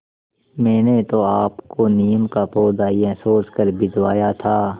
मैंने तो आपको नीम का पौधा यह सोचकर भिजवाया था